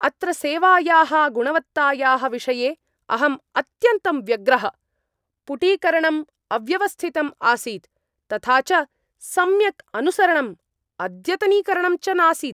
अत्र सेवायाः गुणवत्तायाः विषये अहं अत्यन्तं व्यग्रः। पुटीकरणम् अव्यवस्थितम् आसीत्, तथा च सम्यक् अनुसरणं अद्यतनीकरणं च नासीत्!